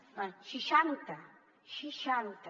bé seixanta seixanta